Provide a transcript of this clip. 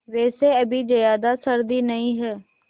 वैसे अभी ज़्यादा सर्दी नहीं है